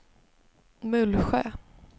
Mullsjö